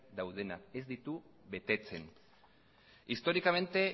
daudenak ez ditu betetzen históricamente